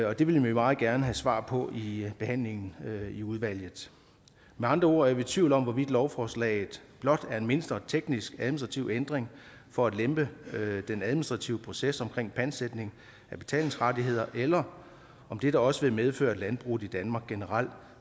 og det vil vi meget gerne have svar på i behandlingen i udvalget med andre ord er vi i tvivl om hvorvidt lovforslaget blot er en mindre teknisk administrativ ændring for at lempe den administrative proces omkring pantsætning af betalingsrettigheder eller om dette også vil medføre at landbruget i danmark generelt